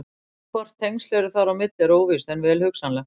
Hvort tengsl eru þar á milli er óvíst en vel hugsanlegt.